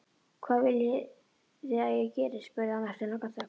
Hvað viljiði að ég geri? spurði hann eftir langa þögn.